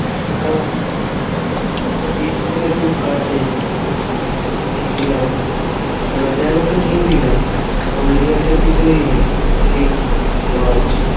ওটা ওটা beach থেকে খুব কাছেই নিউ দিঘার ওখানে। আর ঘোরার জায়গা তো নিউ দিঘাই। ওল্ড দিঘায় তো কিছুই নেই খালি lodge.